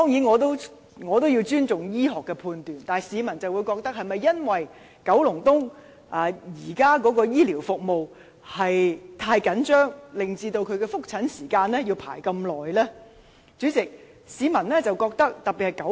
我當然尊重醫學判斷，但市民會認為，是否因為現時九龍東的醫療資源太緊張，以至他的覆診時間要輪候這麼久呢？